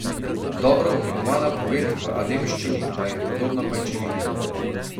Dobro oblikovana poved v ademščini pa je podobna pajčevini.